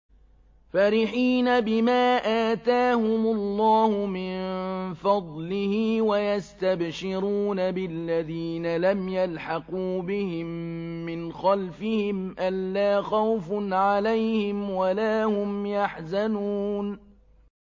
فَرِحِينَ بِمَا آتَاهُمُ اللَّهُ مِن فَضْلِهِ وَيَسْتَبْشِرُونَ بِالَّذِينَ لَمْ يَلْحَقُوا بِهِم مِّنْ خَلْفِهِمْ أَلَّا خَوْفٌ عَلَيْهِمْ وَلَا هُمْ يَحْزَنُونَ